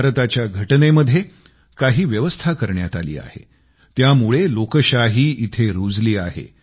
भारताच्या घटनेमध्ये काही व्यवस्था करण्यात आली आहे त्यामुळं लोकशाही इथं रूजली आहे